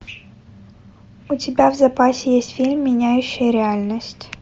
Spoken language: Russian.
у тебя в запасе есть фильм меняющий реальность